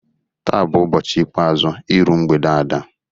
Taa bu ubọchi ikpeazu iru mgbede Ada.